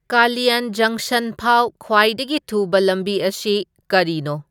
ꯀꯂꯤꯌꯟ ꯖꯪꯁꯪ ꯐꯥꯎ ꯈ꯭ꯋꯥꯏꯗꯒꯤ ꯊꯨꯕ ꯂꯝꯕꯤ ꯑꯁꯤ ꯀꯔꯤꯅꯣ